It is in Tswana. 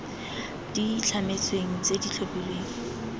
di itlhametsweng tse di tlhophilweng